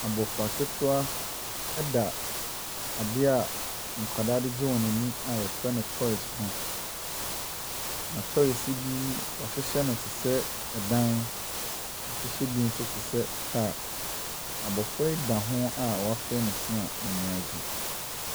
Abɔfra ketewa da adeɛ a nkwadaa de gye wɔn ani a wɔfrɛ no toys ho, toys yi bi wɔahyehyɛ no te sɛ dan, wɔahyehyɛ bi nso te se kaa. Abɔfra yi da ho a wafee ne se a n'ani agye.